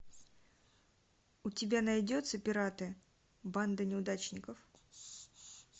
у тебя найдется пираты банда неудачников